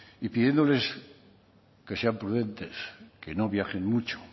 y pidiéndoles que sean prudentes que no viajen mucho